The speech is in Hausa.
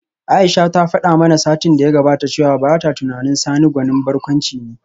Aisha ta fada mana satin da ya gabata cewa bata tunanin Sani gwanin barkwanci ne